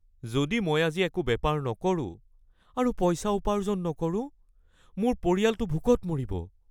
যদি মই আজি একো বেপাৰ নকৰো আৰু পইচা উপাৰ্জন নকৰো, মোৰ পৰিয়ালটো ভোকত মৰিব। (বিক্ৰেতা)